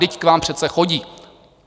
Vždyť k vám přece chodí.